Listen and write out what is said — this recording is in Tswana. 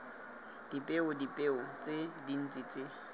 dipeo dipeo tse dintse tse